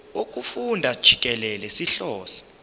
wokufunda jikelele sihlose